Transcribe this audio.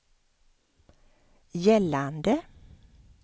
gällande